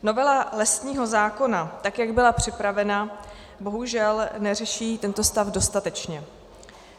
Novela lesního zákona, tak jak byla připravena, bohužel neřeší tento stav dostatečně.